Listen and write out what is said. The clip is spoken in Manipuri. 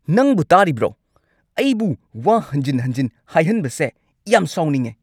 ꯅꯪꯕꯣ ꯇꯥꯔꯤꯕ꯭ꯔꯣ? ꯑꯩꯕꯨ ꯋꯥ ꯍꯟꯖꯤꯟ ꯍꯟꯖꯤꯟ ꯍꯥꯏꯍꯟꯕꯁꯦ ꯌꯥꯝ ꯁꯥꯎꯅꯤꯡꯉꯦ꯫